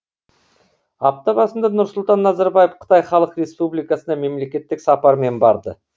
апта басында нұрсұлтан назарбаев қытай халық республикасына мемлекеттік сапармен барды